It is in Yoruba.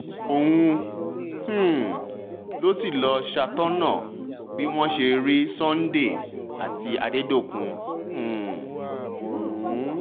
òun um ló sì ló sì ṣàtọ̀nà bí wọ́n ṣe rí sunday àti adẹ̀dọ́kùn um mú